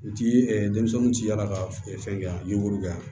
U ti ɛ denmisɛnw ti yaala ka fɛn kɛ yan buru kɛ yan